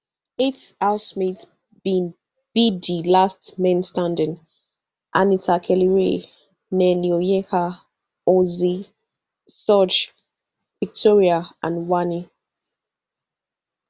eight housemates bin be di last men standing anita kellyrae nelly onyeka ozee sooj victoria and wanni